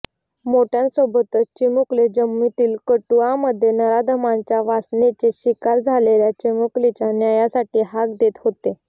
माेठ्यांसाेबतच चिमुकले जम्मूतील कठुअा मध्ये नराधमांच्या वासनेची शिकार झालेल्या चिमुकलीच्या न्यायासाठी हाक देत हाेते